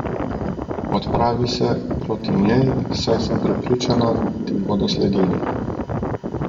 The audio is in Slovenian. Odpravi se proti njej, saj sem prepričana, da ti bodo sledili.